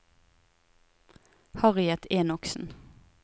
Harriet Enoksen